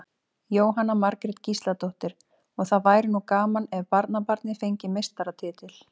Jóhanna Margrét Gísladóttir: Og það væri nú gaman ef barnabarnið fengi meistaratitil?